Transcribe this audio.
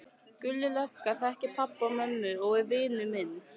Gulli lögga þekkir pabba og mömmu og er vinur minn.